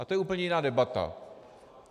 A to je úplně jiná debata.